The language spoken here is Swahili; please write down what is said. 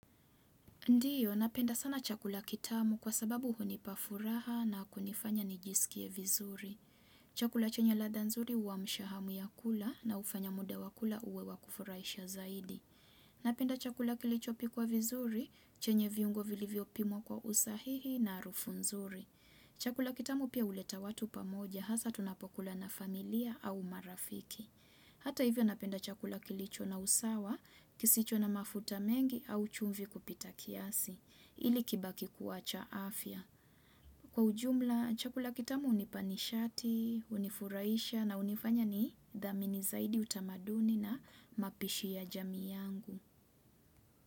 Ndiyo, napenda sana chakula kitamu kwa sababu hunipafuraha na kunifanya nijisikie vizuri. Chakula chenye ladha nzuri huwa amsha hamu ya kula na ufanya muda wakula uwe wakufuraisha zaidi. Napenda chakula kilichopikwa vizuri, chenye viungo vilivyopimwa kwa usahihi na harufu nzuri. Chakula kitamu pia uleta watu pamoja, hasa tunapokula na familia au marafiki. Hata hivyo napenda chakula kilicho na usawa, kisicho na mafuta mengi au chumvi kupita kiasi, ili kibaki kuwa cha afya. Kwa ujumla, chakula kitamu unipanishati, unifuraisha na unifanya ni dhamini zaidi utamaduni na mapishi ya jamii yangu.